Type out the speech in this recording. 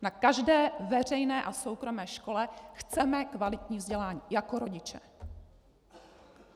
Na každé veřejné a soukromé škole chceme kvalitní vzdělávání jako rodiče.